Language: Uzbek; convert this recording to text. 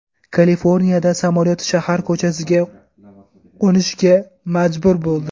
Kaliforniyada samolyot shahar ko‘chasiga qo‘nishga majbur bo‘ldi.